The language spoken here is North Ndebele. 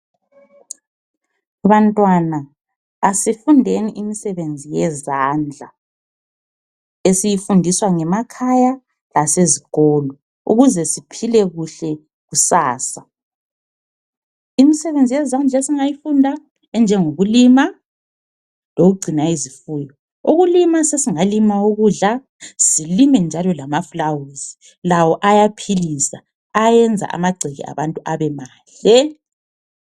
Bantwana asifundeni imisebenzi yezandla esiyifundiswa ngemakhaya lasezikolo ukuze siphile kuhle kusasa. Imisebenzi yezandla esingayifunda enjengokulima lokugcina izifuyo. Ukulima sesingalima ukudla silime njalo lamaflawuzi lawo ayaphilisa, ayenza njalo lamagceke abantu ebemahle.